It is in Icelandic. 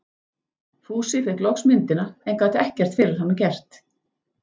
Fúsi fékk loks myndina, en gat ekkert fyrir hana gert.